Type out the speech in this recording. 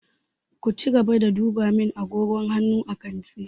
Ku cigaba da duba min agogon hannu a kantin!